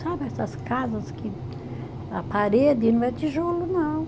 Sabe essas casas que a parede não é tijolo, não.